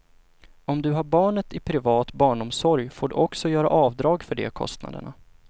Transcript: Om du har barnet i privat barnomsorg får du också göra avdrag för de kostnaderna.